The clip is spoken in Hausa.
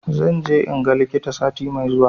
Zan je in ga likita sati mai zuwa